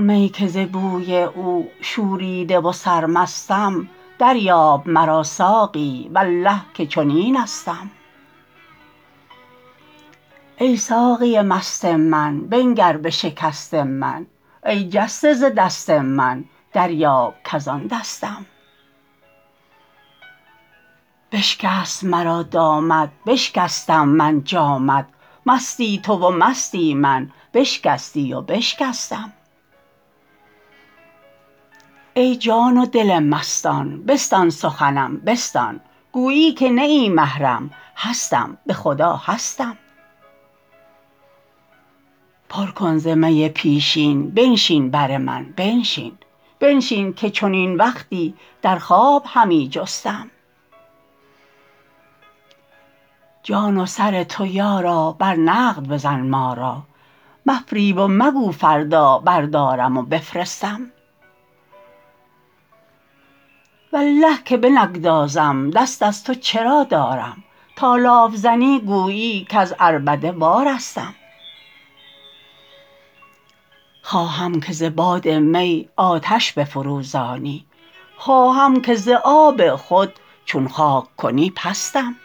می که ز بوی او شوریده و سرمستم دریاب مرا ساقی والله که چنینستم ای ساقی مست من بنگر به شکست من ای جسته ز دست من دریاب کز آن دستم بشکست مرا دامت بشکستم من جامت مستی تو و مستی من بشکستی و بشکستم ای جان و دل مستان بستان سخنم بستان گویی که نه ای محرم هستم به خدا هستم پر کن ز می پیشین بنشین بر من بنشین بنشین که چنین وقتی در خواب همی جستم جان و سر تو یارا بر نقد بزن ما را مفریب و مگو فردا بردارم و بفرستم والله که بنگذارم دست از تو چرا دارم تا لاف زنی گویی کز عربده وارستم خواهم که ز باد می آتش بفروزانی خواهم که ز آب خود چون خاک کنی پستم